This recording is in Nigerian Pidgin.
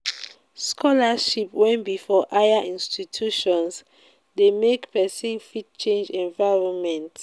scholarship wey be for higher institutions de make persin fit change environment